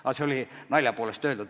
Aga see oli naljaga öeldud.